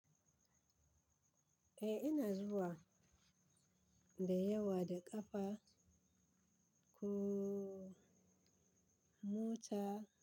Eh ina zuwa da yawa da ƙafa ko mota.